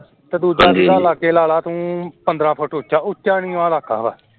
ਤੇ ਦੁੱਜਾ ਤੂੰ ਲਾ ਲੈ ਪੰਦਰਾਂ feet ਉਚਾ, ਉਚਾ ਨਿਵਾ ਰੱਖ ਲੈ ਤੂੰ